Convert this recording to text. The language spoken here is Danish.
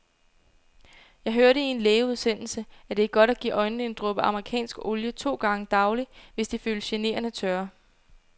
Jeg hørte i en lægeudsendelse, at det er godt at give øjnene en dråbe amerikansk olie to gange daglig, hvis de føles generende tørre.